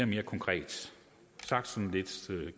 mere konkret sagt sådan lidt